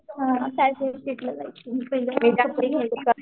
हा science of सिटीला जायचे मी पहेल